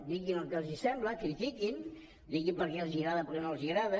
diguin el que els sembla critiquin diguin per què els agrada i per què no els agrada